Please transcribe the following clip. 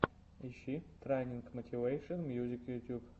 ищи трайнинг мотивэйшен мьюзик ютюб